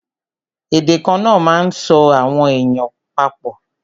Èdè kana máa ń so àwọn èèyàn pa pọ̀